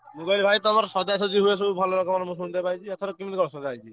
ମୁଁ କହିଲି ଭାଇ ତମର ସଜା ସଜି ହୁଏ ସବୁ ଭଲ ରକମର ମୁଁ ସୁନିତେ ପାଉଚି ଏଥର କେମିତି କଣ ସଜା ହେଇଚି?